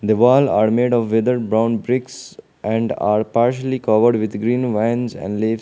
the wall are made of weathered brown bricks and are partially covered with green vines and leaves.